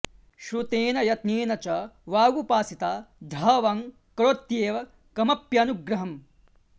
श्रुतेन यत्नेन च वागुपासिता ध्र वं करोत्येव कमप्यनुग्रहम्